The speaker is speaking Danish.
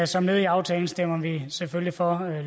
som led i aftalen stemmer vi selvfølgelig for